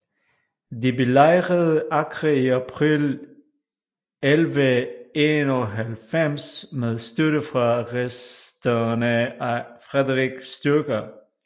De belejrede Acre i april 1191 med støtte fra resterne af Frederick styrker